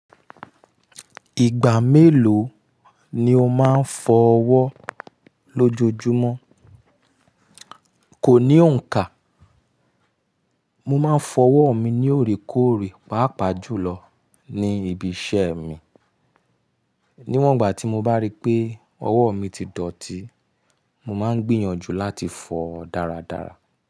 Ìgbà mélòó ni o máa ń fọ ọwọ́ lójoojúmọ́? Kò ní òǹkà, mo máa ń fọ ọwọ́ mi ní òrékọ́ọ̀rẹ́, pàápàá jùlọ ní ibi iṣẹ́ mi. Níwọ́n ìgbà tí mo bá rí pé ọwọ́ mi ti dọ̀tí, mo máa ń gbìyànjú láti fọọ daradara.